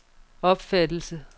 opfattelse